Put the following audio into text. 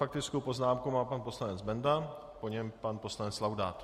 Faktickou poznámku má pan poslanec Benda, po něm pan poslanec Laudát.